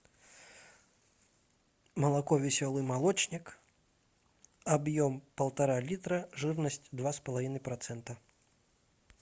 молоко веселый молочник объем полтора литра жирность два с половиной процента